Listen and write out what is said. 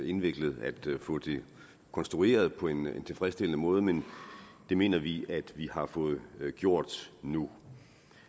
indviklet at få det konstrueret på en tilfredsstillende måde men det mener vi at vi har fået gjort nu